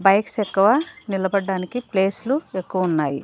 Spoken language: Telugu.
బైక్స్ ఎక్కువ నిలబడ్డానికి ప్లేస్ లు ఎక్కువ ఉన్నాయి.